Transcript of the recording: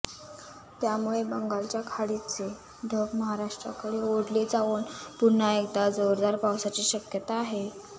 त्यामुळे बंगालच्या खाडीचे ढग महाराष्ट्राकडे ओढले जाऊन पुन्हा एकदा जोरदार पावसाची शक्यता आहे